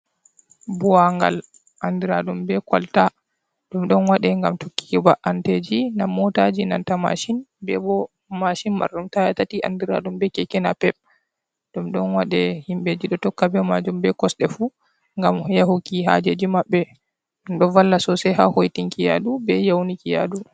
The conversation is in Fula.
Buwangal anɗiraɗum be kalta ɗum ɗon waɗe ngam tokkiki ba’anteji nam motaji nanta mashin. Be bo mashin marrum taya tati andiraɗum be keke napep. Ɗum ɗon waɗe himbeji ɗo tokka be majum be kosɗe fu gam yahuki hajeji mabbe. Ɗo valla sosai ha hoitinki yaɗu be yauniki yaɗu.